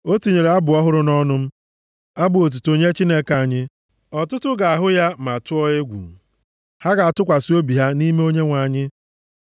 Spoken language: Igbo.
O tinyere abụ ọhụrụ nʼọnụ m, abụ otuto nye Chineke anyị. Ọtụtụ ga-ahụ ya ma tụọ egwu, ha ga-atụkwasị obi ha nʼime Onyenwe anyị.